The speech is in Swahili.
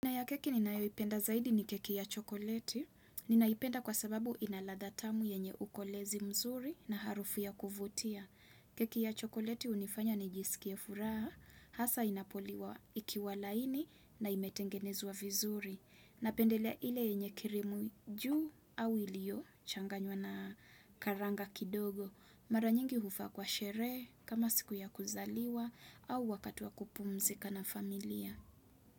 Aina ya keki ninayoipenda zaidi ni keki ya chokoleti. Ninaipenda kwa sababu ina ladha tamu yenye ukolezi mzuri na harufu ya kuvutia. Keki ya chokoleti hunifanya nijisikie furaha. Hasa inapo liwa ikiwa laini na imetengenezwa vizuri napendelea ile yenye kirimu juu au ilio changanywa na karanga kidogo. Mara nyingi hufaa kwa sherehe kama siku ya kuzaliwa au wakati wa kupumzika na familia.